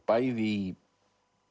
bæði í